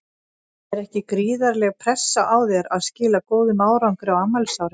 Er ekki gríðarleg pressa á þér að skila góðum árangri á afmælisári?